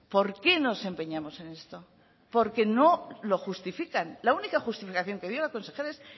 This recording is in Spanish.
por qué nos empeñamos en esto porque no lo justifican la única justificación que dio la consejera es